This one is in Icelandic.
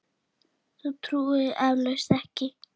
Þú trúir því eflaust ekki.